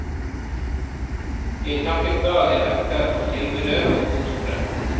Jeg takket dagen etter for tilbudet og godtok det.